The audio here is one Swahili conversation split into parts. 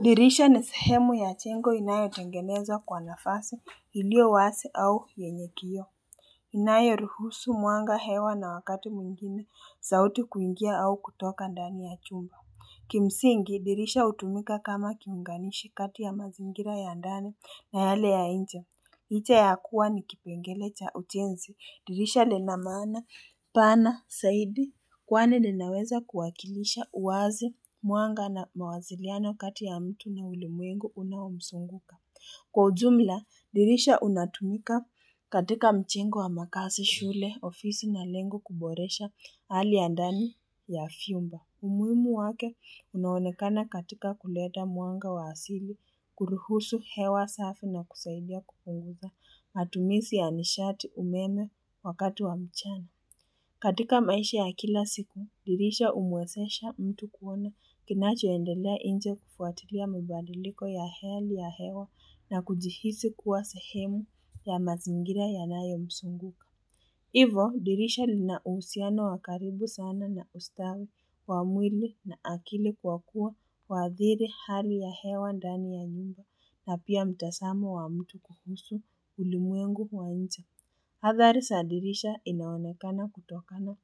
Dirisha ni sahemu ya chengo inayotengenezwa kwa nafasi ilio wasi au yenye kiyo inayo ruhusu muanga hewa na wakati muingine sauti kuingia au kutoka ndani ya chumba Kimsingi dirisha utumika kama kiunganishi kati ya mazingira ya ndani na yale ya inje Iicha ya kuwa ni kipengele cha ujenzi, dirisha linamana, pana, saidi, kwani linaweza kuwakilisha uwazi muanga na mawaziliano kati ya mtu na ulimuengu unawomsunguka. Kwa ujumla, dirisha unatumika katika mjengo wa makaazi shule ofisi na lengo kuboresha hali ya ndani ya vyumba. Umuhimu wake unaonekana katika kuleta mwanga wa asili, kuruhusu hewa safi na kusaidia kupunguza matumizi ya nishati umeme wakati wa mchana. Katika maisha ya kila siku, dirisha humuwezesha mtu kuona kinacho endelea nje kufuatilia mibadiliko ya hali ya hewa na kujihisi kuwa sehemu ya mazingira ya nayo mzunguka. Hivo dirisha linauhusiano wakaribu sana na ustawi wa mwili na akili kwa kuwa waathiri hali ya hewa ndani ya nyumba na pia mtazamo wa mtu kuhusu ulimwengu wa nje. Athari za dirisha inaonekana kutokana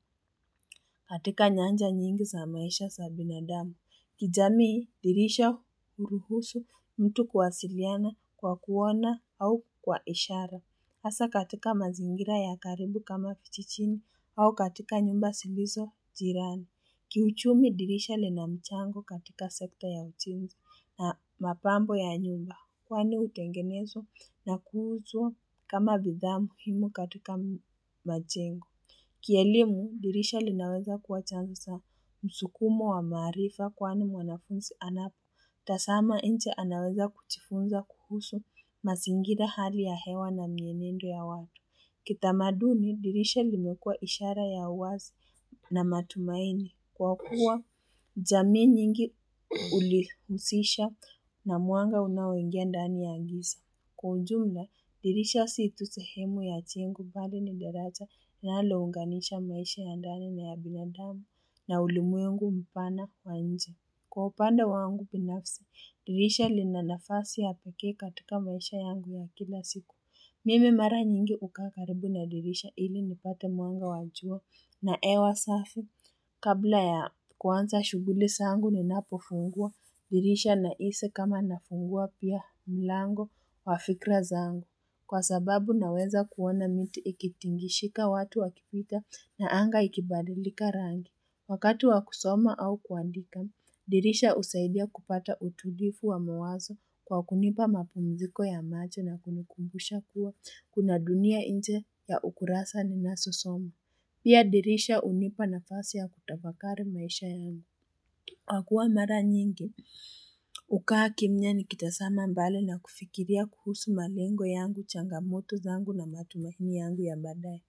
katika nyanja nyingi za maisha za binadamu. Kijamii dirisha huruhusu mtu kuwasiliana kwa kuona au kwa ishara. Hasa katika mazingira ya karibu kama kijijini au katika nyumba zilizo jirani. Kiuchumi dirisha lina mchango katika sekta ya ujenzi na mapambo ya nyumba kwani hutengenezwa na kuuzwa kama bidhaa muhimu katika majengo. Kielimu, dirisha linaweza kuwa chanzo za msukumo wa maarifa kwani mwanafunzi anapo. Tazama nje anaweza kujifunza kuhusu mazingira hali ya hewa na mienendo ya watu. Kitamaduni, dirisha limekua ishara ya uwazi na matumaini. Kwa kuwa jamii nyingi hulihusisha na mwanga unaoingia ndani ya giza. Kwa ujumla, dirisha si tu sehemu ya jengo bali ni deraja linalounganisha maisha ya ndani na yabinadamu, na ulimwengu mpana wa nje. Kwa upande wangu binafsi, dirisha linanafasi ya pekee katika maisha yangu ya kila siku. Mimi mara nyingi hukaa karibu na dirisha ili nipate mwanga wajua. Na hewa safi, kabla ya kuanza shughuli zangu ninapofungua, dirisha nahisi kama nafungua pia mlango. Wa fikra zangu, kwa sababu naweza kuona miti ikitingishika watu wakipita na anga ikibadilika rangi. Wakati wakusoma au kuandika, dirisha husaidia kupata utulivu wa mawazo kwa kunipa mapumziko ya macho na kunikumbusha kuwa kuna dunia nje ya ukurasa ni nazo soma. Pia dirisha hunipa na fasi ya kutafakari maisha ya angu. Kwa kuwa mara nyingi, hukaa kimya ni kitazama mbali na kufikiria kuhusu malengo yangu, changamoto zangu na matumaini yangu ya baadaye.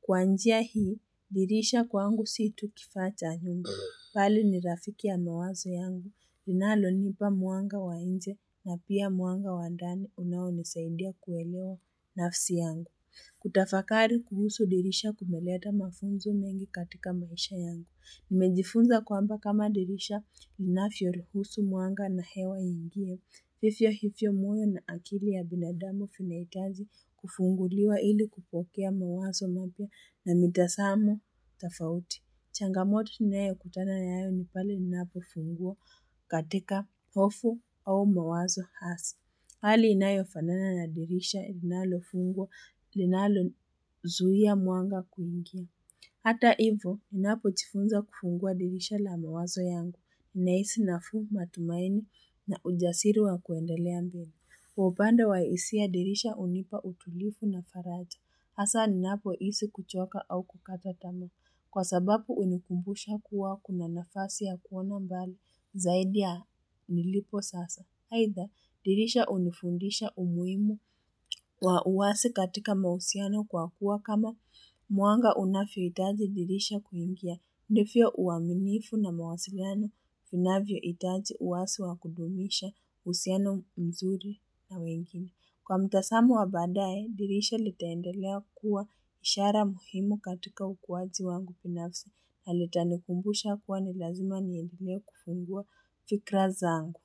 Kwa njia hii, dirisha kwangu situ kifaa cha nyumba, bali ni rafiki ya mawazo yangu, linalo nipa mwanga wa nje na pia mwanga wa ndani unaonisaidia kuelewa nafsi yangu. Kutafakari kuhusu dirisha kumeleta mafunzo mengi katika maisha yangu. Nimejifunza kwamba kama dirisha inavyo ruhusu mwanga na hewa ingie. Ndivyo hivyo mwanya na akili ya binadamu vinahitaji kufunguliwa ili kupokea mawazo mapya na mitazamo tofauti. Changamoto ninayo kutana yayo nipale ninapo fungwa katika hofu au mawazo hasi. Hali inayo fanana na dirisha linalo fungwa linalo zuia mwanga kuingia. Hata hivyo, unapo jifunza kufungua dirisha la mawazo yangu, nahisi nafuu matumaini na ujasiri wa kuendelea mbele. Kwa upande wa hisia dirisha hunipa utulivu na faraja Hasa, ninapo hisi kuchoka au kukata tamaa, kwa sababu hunikumbusha kuwa kuna nafasi ya kuona mbali zaidi ya nilipo sasa. Aidha, dirisha hunifundisha umuhimu wa uwazi katika mahusiano kwa kuwa kama mwanga unavyo hitaji dirisha kuingia. Ndivyo uaminifu na mawasiliano, unavyo hitaji uwazi wa kudumisha uhusiano mzuri na wengine. Kwa mtazamo wa baadaye, dirisha litaendelea kuwa ishara muhimu katika ukuwaji wangu binafsi. Na litanikumbusha kuwa nilazima niendelee kufungua fikra zangu.